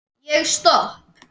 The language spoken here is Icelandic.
Ég stopp